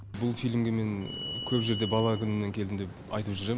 бұл фильмге мен көп жерде бала күнімнен келдім деп айтып жүрем